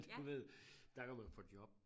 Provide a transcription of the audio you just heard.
Du ved dér kan man få job